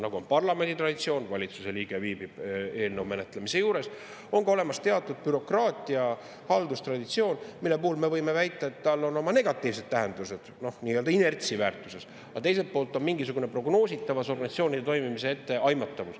Nagu on parlamendi traditsioon, et valitsuse liige viibib eelnõu menetlemise juures, on ka olemas teatud bürokraatia, halduse traditsioon, mille puhul me võime väita, et sellel on oma negatiivne tähendus nii-öelda inertsi, aga teiselt poolt on mingisugune prognoositavus, organisatsioonide toimimise etteaimatavus.